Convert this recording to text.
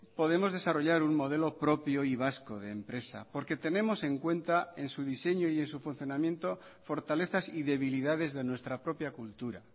podemos desarrollar un modelo propio y vasco de empresa porque tenemos en cuenta en su diseño y en su funcionamiento fortalezas y debilidades de nuestra propia cultura